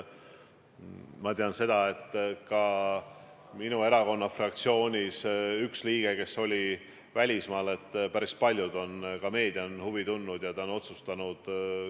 Ma tean, et ka üks minu erakonna fraktsiooni liige oli välismaal, ja päris paljud, ka meedia on selle vastu huvi tundnud.